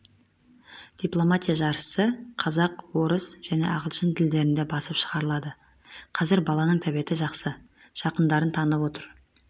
дипломатия жаршысы қазақ орыс және ағылшын тілдерінде басып шығарылады қазір баланың тәбеті жақсы жақындарын танып отыр